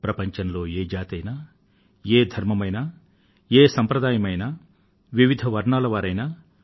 ప్రపంచంలో ఏ జాతి అయినా ఏ ధర్మం అయినా ఏ సంప్రదాయం అయినా వివిధ వర్ణాల వారు అయినా